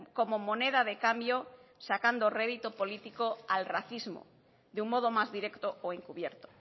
como moneda de cambio sacando rédito político al racismo de un modo más directo o encubierto